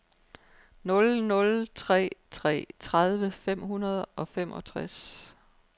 nul nul tre tre tredive fem hundrede og femogtres